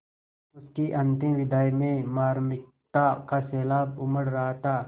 उसकी अंतिम विदाई में मार्मिकता का सैलाब उमड़ रहा था